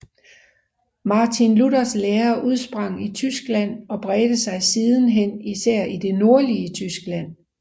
Martin Luthers lære udsprang i Tyskland og bredte sig sidenhen især i det nordlige Tyskland